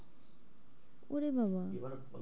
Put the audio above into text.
ওরে বাবা .